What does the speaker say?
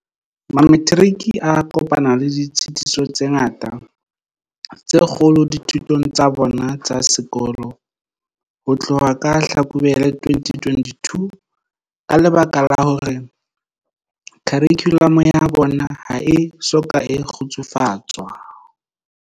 Mametiriki a kopane le ditshitiso tse ngata tse kgolo dithutong tsa bona tsa sekolo ho tloha ka Hlakubele 2020 ka lebaka la hore kharikhulamo ya bona ha e soka e kgutsufatswa.